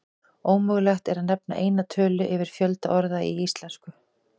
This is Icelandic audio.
Ómögulegt er að nefna eina tölu yfir fjölda orða í íslensku.